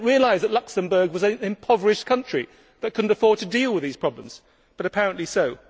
I did not realise that Luxembourg was an impoverished country that could not afford to deal with these problems, but apparently so.